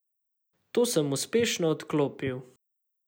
To sem uspešno odklopil.